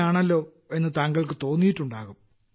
യാണല്ലോ എന്ന് താങ്കൾക്ക് തോന്നിയിട്ടുണ്ടാകും